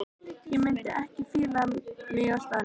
Ég mundi ekki fíla mig á staðnum.